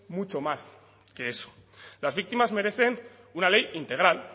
mucho más que eso las víctimas merecen una ley integral